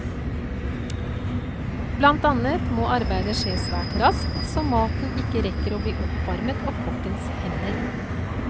Blant annet må arbeidet skje svært raskt, så maten ikke rekker å bli oppvarmet av kokkens hender.